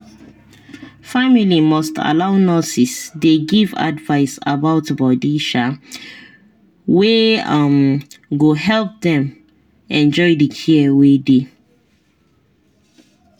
family must allow nurses dey give advice about body um wey um go help dem enjoy the care wey dey.